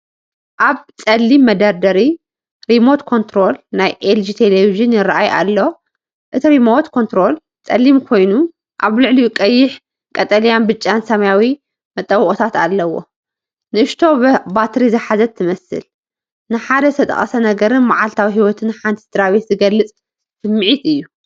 ኣብ ጸሊም መደርደሪ ሪሞት ኮንትሮል ናይ ኤልጂ ቴሌቪዥን ይራኣይ ኣሎ። እቲ ሪሞት ኮንትሮል ጸሊም ኮይኑ ኣብ ልዕሊኡ ቀይሕ፡ ቀጠልያ፡ብጫን ሰማያውን መጠወቒታት ኣለዎ። ንእሽቶ በትሪ ዝሓዘት ትመስል። ንሓደ ዝተጠቕሰ ነገርን መዓልታዊ ህይወት ሓንቲ ስድራቤትን ዝገልጽ ስምዒት እዩ።